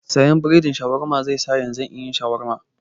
Siyan biredin Shawarma yanzun, zai sa nayi Shawarma.